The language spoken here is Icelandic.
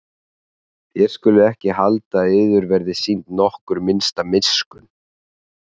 Þér skuluð ekki halda að yður verði sýnd nokkur minnsta miskunn.